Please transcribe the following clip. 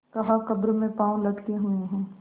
कहाकब्र में पाँव लटके हुए हैं